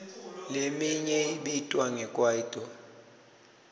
leminye ibitwa nge kwaito